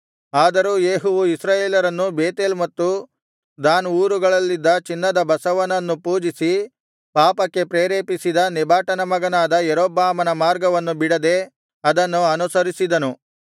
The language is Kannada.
ಆದರೂ ಯೇಹುವು ಇಸ್ರಾಯೇಲರನ್ನು ಬೇತೇಲ್ ಮತ್ತು ದಾನ್ ಊರುಗಳಲ್ಲಿದ್ದ ಚಿನ್ನದ ಬಸವನನ್ನು ಪೂಜಿಸಿ ಪಾಪಕ್ಕೆ ಪ್ರೇರೇಪಿಸಿದ ನೆಬಾಟನ ಮಗನಾದ ಯಾರೊಬ್ಬಾಮನ ಮಾರ್ಗವನ್ನು ಬಿಡದೆ ಅದನ್ನು ಅನುಸರಿಸಿದನು